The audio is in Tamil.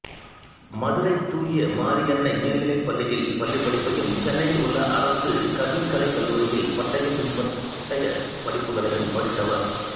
மதுரை தூய மரியன்னை மேல்நிலைப் பள்ளியில் பள்ளிப்படிப்பையும் சென்னையில் உள்ள அரசு கவின்கலைக் கல்லூரியில் பட்டய பின்பட்டயப் படிப்புகளையும் படித்தவர்